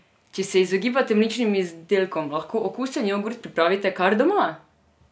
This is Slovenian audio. Če se izogibate mlečnim izdelkom, lahko okusen jogurt pripravite kar doma!